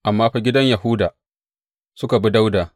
Amma fa, gidan Yahuda, suka bi Dawuda.